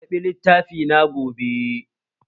Zan ƙarɓi littafai na gobe